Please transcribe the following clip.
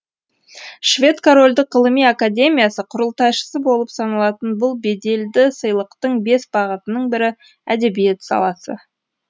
швед корольдік ғылыми академиясы құрылтайшысы болып саналатын бұл беделді сыйлықтың бес бағытының бірі әдебиет саласы